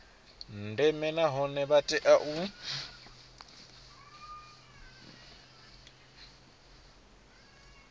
ndeme nahone vha tea u